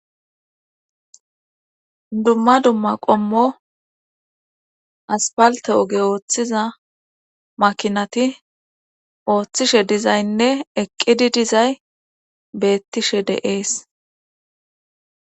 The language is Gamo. dumma dumma qommo asfalte oge ooththiza makinati ooththishe dizaynne eqqidi dizay beettishe deees